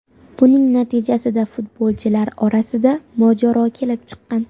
Buning natijasida futbolchilar orasida mojaro kelib chiqqan.